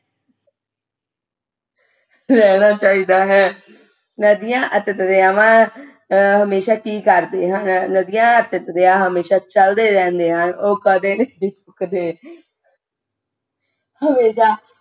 ਰਹਿਣਾ ਚਾਹੀਦਾ ਹੈ ਨਦੀਆਂ ਅਤੇ ਦਰਿਆਵਾਂ ਅਹ ਹਮੇਸ਼ਾ ਕਿ ਕਰਦੇ ਹਨ ਨਦੀਆਂ ਅਤੇ ਦਰਿਆ ਹਮੇਸ਼ਾ ਚਲਦੇ ਰਹਿੰਦੇ ਹਨ ਉਹ ਕਦੇ ਕਦੇ ਹਮੇਸ਼ਾ